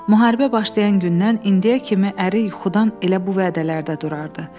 Müharibə başlayan gündən indiyə kimi əri yuxudan elə bu vədələrdə durardı.